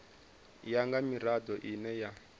ya nga mirado ine ya